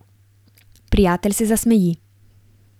Prijatelj se zasmeji.